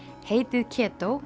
heitið